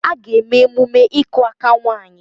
A ga-eme emume ịkụ aka nwaanyị